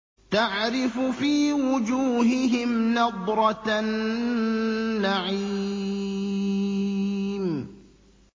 تَعْرِفُ فِي وُجُوهِهِمْ نَضْرَةَ النَّعِيمِ